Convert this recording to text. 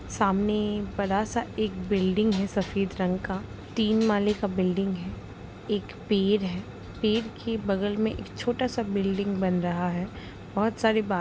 सामने बड़ा सा एक बिल्डिंग है सफेद रंग का तीन माले का बिल्डिंग है एक पेड़ है पेड़ के बगल में एक छोटा सा बिल्डिंग बन रहा है बहुत सारा बा --